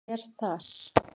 Hann er þar.